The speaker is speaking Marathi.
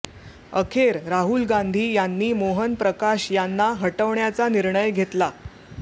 अखेर राहुल गांधी यांनी मोहन प्रकाश यांना हटवण्याचा निर्णय घेतला